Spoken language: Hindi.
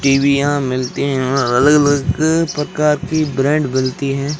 टीवीयां मिलती हैं और अलग अलग प्रकार की ब्रांड बनती हैं।